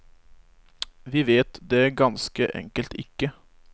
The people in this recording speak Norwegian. Vi vet det ganske enkelt ikke.